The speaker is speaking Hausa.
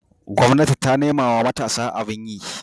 gwamnati ta nemawa matasa abin yi